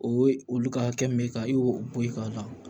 O ye olu ka hakɛ min bɛ ka i y'o bɔ i k'a la